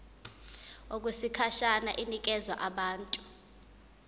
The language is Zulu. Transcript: okwesikhashana inikezwa abantu